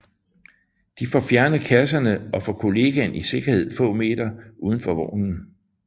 De får fjernet kasserne og får kollegaen i sikkerhed få meter uden for vognen